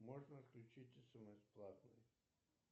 можно отключить смс платный